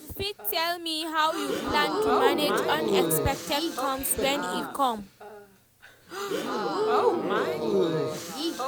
u fit tell me how you plan to manage unexpected cost wen e come?